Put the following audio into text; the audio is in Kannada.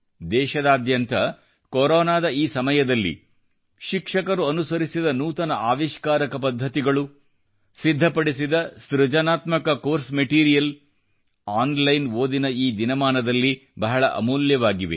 ದೇಶದಾದ್ಯಂತ ಕೊರೊನಾದ ಈ ಸಮಯದಲ್ಲಿ ಶಿಕ್ಷಕರು ಅನುಸರಿಸಿದ ನೂತನ ಆವಿಷ್ಕಾರಕ ಪದ್ಧತಿಗಳು ಸಿದ್ಧಪಡಿಸಿದ ಸೃಜನಾತ್ಮಕ ಕೋರ್ಸ್ ಮಟಿರಿಯಲ್ ಆನ್ ಲೈನ್ ಓದಿನ ಈ ದಿನಮಾನದಲ್ಲಿ ಬಹಳ ಅಮೂಲ್ಯವಾಗಿವೆ